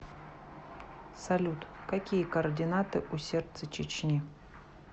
салют какие координаты у сердце чечни